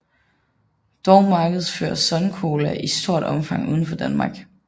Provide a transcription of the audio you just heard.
Dog markedsføres Sun Cola i stort omfang udenfor Danmark